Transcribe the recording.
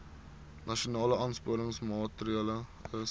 nasionale aansporingsmaatre ls